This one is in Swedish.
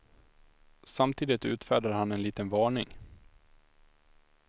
Samtidigt utfärdar han en liten varning.